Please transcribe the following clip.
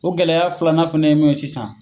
O gɛlɛya filanan fɛnɛ ye mun ye sisan